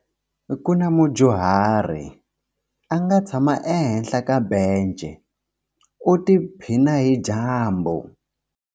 Ku na mudyuhari a nga tshama ehenhla ka bence u tiphina hi dyambu.